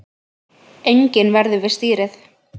Enginn verður við stýrið